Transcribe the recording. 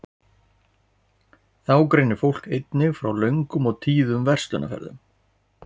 þá greinir fólk einnig frá löngum og tíðum verslunarferðum